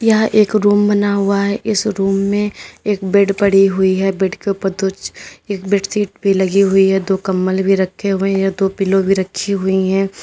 यह एक रूम बना हुआ है इस रूम में एक बेड पड़ी हुई है बेड के ऊपर दो एक बेडशीट भी लगी हुई है दो कंबल भी रखे हुए हैं दो पिलो भी रखी हुई हैं।